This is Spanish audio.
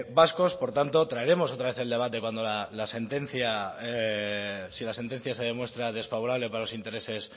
vascos por tanto traeremos otra vez el debate si la sentencia se demuestra desfavorable para los intereses